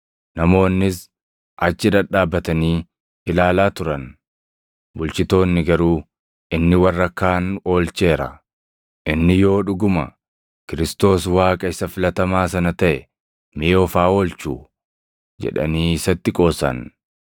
Namoonnis achi dhadhaabatanii ilaalaa turan; bulchitoonni garuu, “Inni warra kaan oolcheera. Inni yoo dhuguma Kiristoos Waaqaa isa Filatamaa sana taʼe mee of haa oolchuu!” jedhanii isatti qoosan.